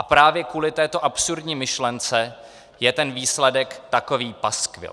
A právě kvůli této absurdní myšlence je ten výsledek takový paskvil.